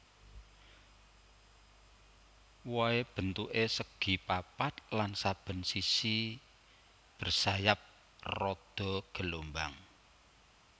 Wohé bentuké segi papat lan saben sisi bersayap rada gelombang